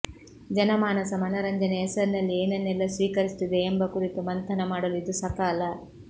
ಜನಮಾನಸ ಮನರಂಜನೆಯ ಹೆಸರಿನಲ್ಲಿ ಏನನ್ನೆಲ್ಲಾ ಸ್ವೀಕರಿಸುತ್ತಿದೆ ಎಂಬ ಕುರಿತು ಮಂಥನ ಮಾಡಲು ಇದು ಸಕಾಲ